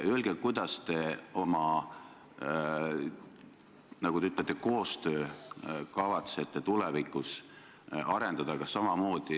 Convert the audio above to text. Kuidas te kavatsete oma, nagu te ütlete, koostööd tulevikus arendada?